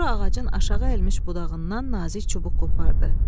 Sonra ağacın aşağı əyilmiş budağından nazik çubuq qopardı.